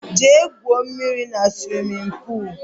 Jee gwụo mmírí na swimin poolu!!!